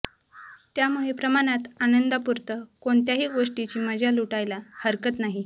त्यामुळे प्रमाणात आनंदापुरतं कोणत्याही गोष्टीची मजा लुटायला हरकत नाही